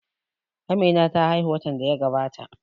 Amina ta haihu watan da ya gabata